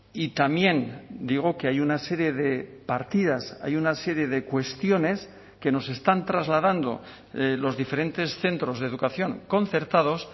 y también digo que hay una serie de partidas hay una serie de cuestiones que nos están trasladando los diferentes centros de educación concertados